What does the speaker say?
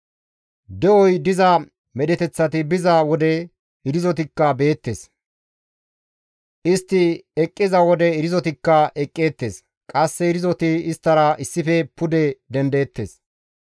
De7oy diza medheteththati biza wode irzotikka beettes; istti eqqiza wode irzotikka eqqeettes; qasse irzoti isttara issife pude dendeettes.